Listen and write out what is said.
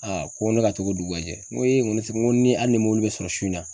ko ne ka to dugu ka jɛ, n ko n ko hali ni mɔbili bi sɔrɔ su in na